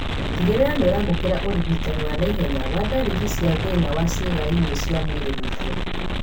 Tigĩrĩra nĩũramũkĩra ũrigitani wa naihenya wa ndariri cia thĩna wa ciĩga imwe cia mwĩrĩ gũkua